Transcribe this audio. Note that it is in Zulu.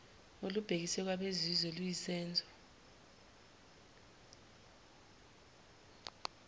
olubhekiswe kwabezizwe luyisenzo